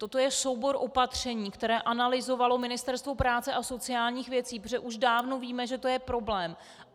Toto je soubor opatření, který analyzovalo Ministerstvo práce a sociálních věcí, protože už dávno víme, že to je problém.